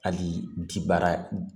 Hali di baara